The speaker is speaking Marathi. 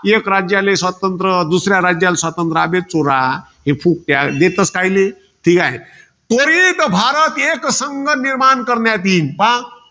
एक राज्याले स्वातंत्र्य, दुसऱ्या राज्याले स्वातंत्र्य. अबे चोरा. फुकट्या, देतोस कायले? त्वरित भारत एकसंघ निर्माण करण्यात येईल. पहा.